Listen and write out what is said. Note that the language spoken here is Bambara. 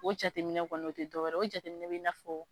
O jateminɛ kɔni o tɛ dɔ wɛrɛ ye o jateminɛ bɛ i na fɔ.